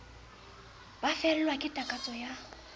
ba fellwa ke takatso ya